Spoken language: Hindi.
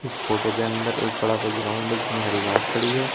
फोटो के अंदर एक बड़ा सा ग्राउंड जिसमें हरी घास खड़ी है।